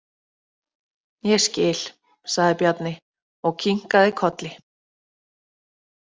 Ég skil, sagði Bjarni og kinkaði kolli.